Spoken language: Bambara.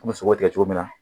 An bɛ sogo tigɛ cogo min na